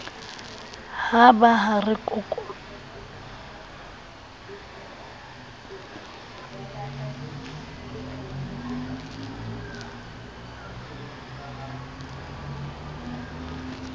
ha ba ha re kokololo